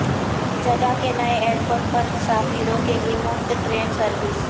Jeddah کے نئے airport پر مسافروں کے لیے مفت ٹرین سروس